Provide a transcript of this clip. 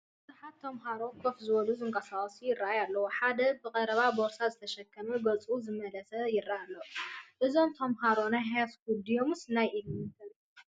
ብዙሓት ተምሃሮ ከፍ ዝበሉን ዝንቀሳቐሱን ይራኣዩ ኣለው፡፡ ሓደ ብቐረባ ቦርሳ ዝተሸከመ ገፁ ዝመለሰ ይረኣይ ኣሎ፡፡ እዞም ተምሃሮ ናይ ሃይስኩል ድዮምስ ናይ ኢለመንታሪ?